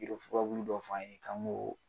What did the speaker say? Yirifurabulu dɔ f'an ye k'an ŋ'oo